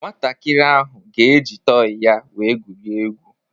Nwantakịrị ahụ ga-eji tọị ya wee gwurịe egwu.